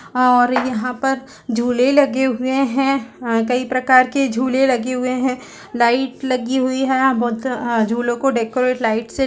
और यहाँ पर झूले लगे हुए है कई प्रकार की झूले लगे हुए है लाइट लगी हुई है और बहुत झूलों को डेकोरेट लाइट से--